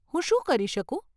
હું શું કરી શકું?